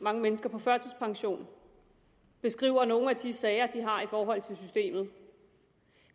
mange mennesker på førtidspension beskriver nogle af de sager de har i forhold til systemet